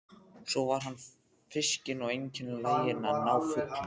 Svo var hann fiskinn og einkar laginn að ná fugli.